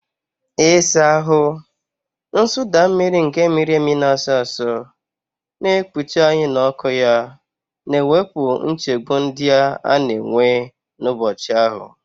Ịsa ahụ, nsụda mmiri nke mmiri na-asọ asọ, na-ekpuchi anyị n'ọkụ ya, na-ewepụ nchegbu ndị a na-enwe n'ụbọchị ahụ.